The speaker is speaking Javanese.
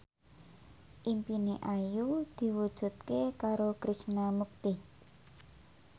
impine Ayu diwujudke karo Krishna Mukti